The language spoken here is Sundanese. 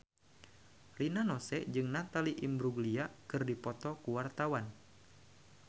Rina Nose jeung Natalie Imbruglia keur dipoto ku wartawan